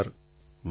પ્રધાનમંત્રી વાહ